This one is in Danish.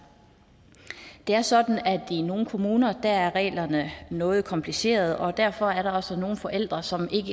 det er sådan at i nogle kommuner er reglerne noget komplicerede og derfor er der også nogle forældre som